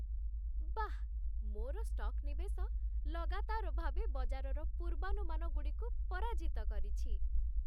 ବାଃ, ମୋର ଷ୍ଟକ୍ ନିବେଶ ଲଗାତାର ଭାବେ ବଜାରର ପୂର୍ବାନୁମାନଗୁଡ଼ିକୁ ପରାଜିତ କରିଛି।